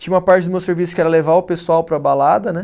Tinha uma parte do meu serviço que era levar o pessoal para a balada, né?